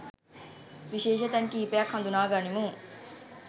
විශේෂ තැන් කිහිපයක් හඳුනා ගනිමු.